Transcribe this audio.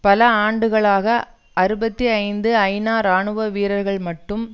பல ஆண்டுகளாக அறுபத்தி ஐந்து ஐநா இராணுவ வீரர்கள் மட்டும்